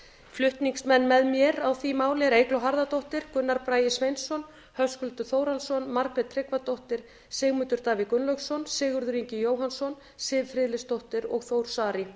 flutningsmenn með mér á því máli eru eygló harðardóttir gunnar bragi sveinsson höskuldur þórhallsson margrét tryggvadóttir sigmundur davíð gunnlaugsson sigurður ingi jóhannsson siv friðleifsdóttir og þór saari